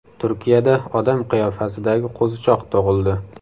Turkiyada odam qiyofasidagi qo‘zichoq tug‘ildi .